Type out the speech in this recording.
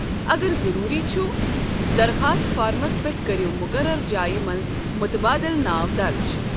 اگر ضٔروٗری چھ، درخاست فارمَس پٮ۪ٹھ کٔرِو مُقررٕ جایہِ منٛز متبٲدل ناو درٕج ۔